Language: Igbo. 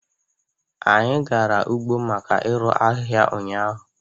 Anyi gara ugbo maka irụ ahịhịa ụnyahụ